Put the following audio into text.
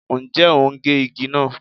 Ǹjẹ́ o ń gé igi náà?